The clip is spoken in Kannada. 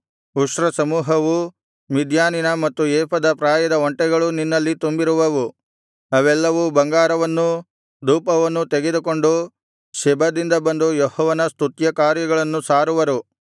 ಉಷ್ಟ್ರಸಮೂಹವೂ ಮಿದ್ಯಾನಿನ ಮತ್ತು ಏಫದ ಪ್ರಾಯದ ಒಂಟೆಗಳೂ ನಿನ್ನಲ್ಲಿ ತುಂಬಿರುವವು ಅವೆಲ್ಲವೂ ಬಂಗಾರವನ್ನೂ ಧೂಪವನ್ನೂ ತೆಗೆದುಕೊಂಡು ಶೆಬದಿಂದ ಬಂದು ಯೆಹೋವನ ಸ್ತುತ್ಯಕೃತ್ಯಗಳನ್ನು ಸಾರುವರು